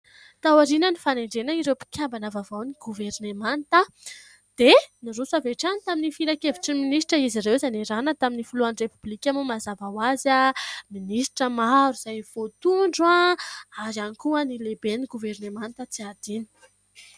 Taoriana ny fanendrena ireo mpikambana vaovaon'ny governemanta dia niroso avy hatrany tamin'ny filan-kevitry ny ministra izy ireo izay niarahana tamin'ny filohan'ny repoblika moa mazava ho azy , minisitra maro izay voatondro ary ihany koa ny lehiben'ny governemanta tsy adino.